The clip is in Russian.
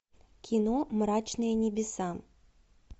кино мрачные небеса